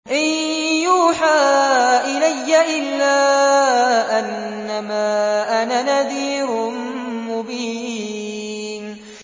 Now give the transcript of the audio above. إِن يُوحَىٰ إِلَيَّ إِلَّا أَنَّمَا أَنَا نَذِيرٌ مُّبِينٌ